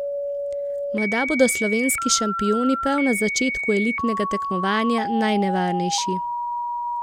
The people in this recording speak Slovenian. Morda bodo slovenski šampioni prav na začetku elitnega tekmovanja najnevarnejši.